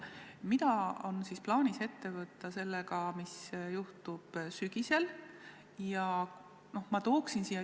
Mida on plaanis ette võtta selles suhtes, mis juhtub sügisel?